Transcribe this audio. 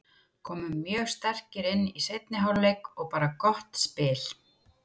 Komum mjög sterkir inn í seinni hálfleik og bara gott spil.